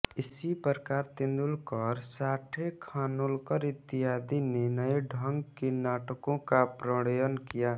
इसी प्रकार तेंदुलकर साठे खानोलकर इत्यादि ने नए ढंग के नाटकों का प्रणयन किया